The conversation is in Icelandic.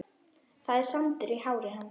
Það er sandur í hári hans.